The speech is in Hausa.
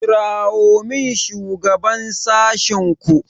kirawo min shugaban sashenku.